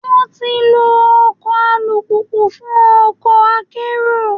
Wọ́n ti ń lọ ọkọ̀ alùpùpù fún ọkọ̀ akérò.